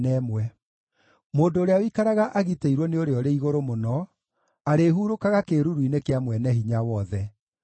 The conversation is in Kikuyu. Mũndũ ũrĩa ũikaraga agitĩirwo nĩ Ũrĩa-ũrĩ-Igũrũ-Mũno arĩhurũkaga kĩĩruru-inĩ kĩa Mwene-Hinya-Wothe.